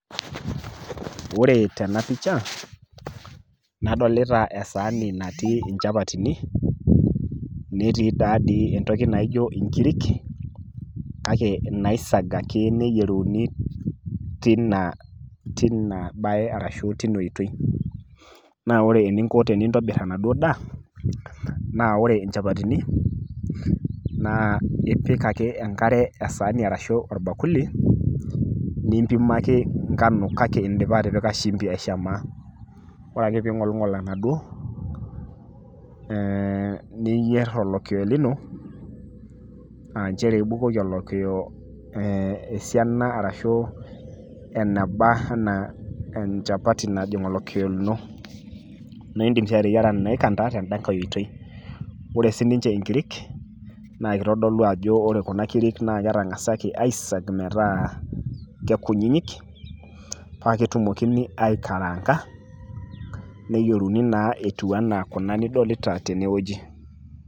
Ore tena picha nadolita esaani natii inchapatini, netii taadii entoki naijo inkirik kake naisagaki neyieruni [tina] tina baye arashu tinoitoi. Naa ore eninko tenintobirr enaduo daa naa ore inchapatini naa ipik ake enkare esaani arashu orbakuli nimpimaki  ngano kake indipa atipika shimbi aishamaa. Ore ake piing'olng'ol enaduo ee niyierr olokio lino aanchere ibukoki olokio esiana arashu eneba anaa enchapati najing' olokio lino. Naaidim sii ateyiera naaikanda tendakai oitoi. Ore sininche inkirik naakeitodolu ajo ore kuna kirik naaketang'asaki aisag metaa kekunyinyik paaketumokini aikaraanga neyueruni naa etiu anaa kuna nidolita tenewueji.